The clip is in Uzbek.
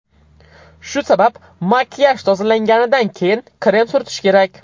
Shu sabab makiyaj tozalanganidan keyin krem surtish kerak.